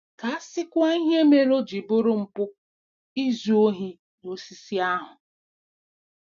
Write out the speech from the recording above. Ka a sịkwa ihe mere o ji bụrụ mpụ izu ohi n'osisi ahụ!